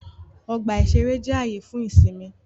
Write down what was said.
Ọgbà-ìṣeré jẹ́ ààyè fún ìsinmi